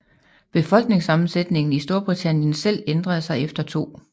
Befolkningssammensætningen i Storbritannien selv ændrede sig efter 2